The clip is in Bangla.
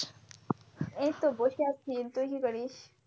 এইতো বসে আছি, তুই কি করিস?